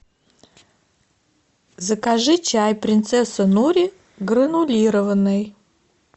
закажи чай принцесса нури гранулированный